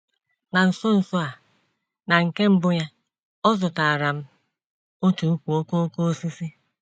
Na nso nso a, na nke mbụ ya, ọ zụtaara m otu ùkwù okooko osisi.